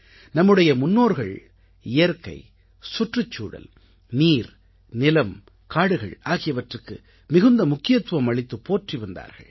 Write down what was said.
நம்முடைய முன்னோர்கள் இயற்கை சுற்றுச்சூழல் நீர் நிலம் காடுகள் ஆகியவற்றுக்கு மிகுந்த முக்கியத்துவம் அளித்துப் போற்றி வந்தார்கள்